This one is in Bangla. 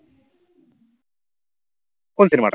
কোন cinema টা?